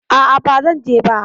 A'a, ba zan je ba.